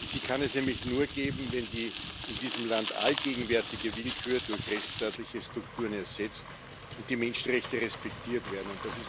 Sie kann es nämlich nur geben, wenn die in diesem Land allgegenwärtige Willkür durch rechtsstaatliche Strukturen ersetzt wird und die Menschenrechte respektiert werden.